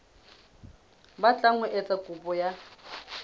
batlang ho etsa kopo ya